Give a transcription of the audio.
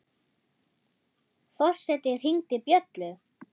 Forseti hringdi bjöllu!